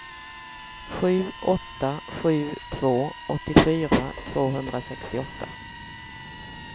sju åtta sju två åttiofyra tvåhundrasextioåtta